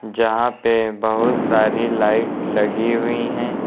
जहां पे बहोत सारी लाइट लगी हुई है।